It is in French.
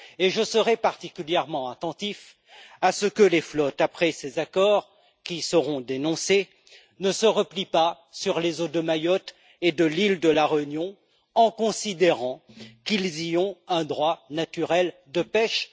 Je serai particulièrement attentif à ce que les flottes, après ces accords, qui seront dénoncés, ne se replient pas sur les eaux de Mayotte et de l'île de la Réunion, en considérant qu'ils y ont un droit naturel de pêche.